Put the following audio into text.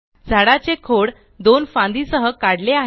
झाडाचे खोड दोन फांदी सह काढले आहे